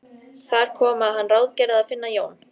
Þar kom að hann ráðgerði að finna Jón